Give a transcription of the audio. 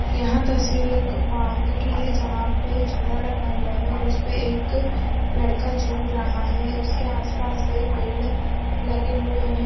यह तस्वीर एक पार्क की है जहाँ पे झूला लगा हुआ है और उसपे एक लड़का झूल रहा है उसके आस-पास कई पेड़ लगे हुए है ।